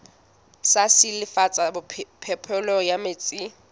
sa silafatsa phepelo ya metsi